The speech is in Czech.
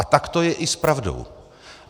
A tak to je i s pravdou.